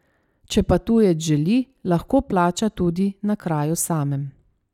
Če pa tujec želi, lahko plača tudi na kraju samem.